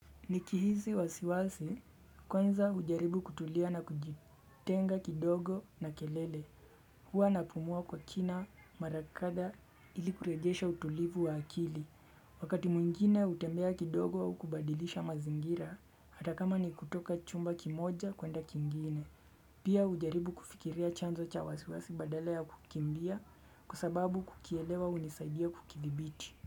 Nikihisi wasiwasi kwanza hujaribu kutulia na kujitenga kidogo na kelele huwa napumua kwa kina mara kadhaa ili kurejesha utulivu wa akili wakati mwingine hutembea kidogo kubadilisha mazingira hata kama ni kutoka chumba kimoja kwenda kingine pia hujaribu kufikiria chanzo cha wasiwasi badala ya kukimbia kwa sababu kukielewa hunisaidia kukidhibiti.